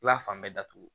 I b'a fan bɛɛ datugu